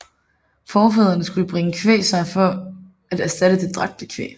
Forfædrene skulle bringe kvæg med sig for at erstatte det dræbte kvæg